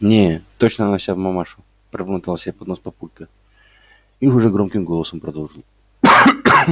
не точно она вся в мамашу пробормотал себе под нос папулька и уже громким голосом продолжил